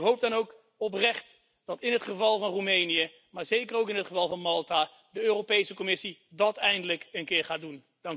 Ik hoop dan ook oprecht dat in het geval van Roemenië, maar zeker ook in het geval van Malta, de Europese Commissie dat eindelijk een keer gaat doen.